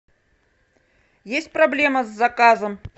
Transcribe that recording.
есть проблема с заказом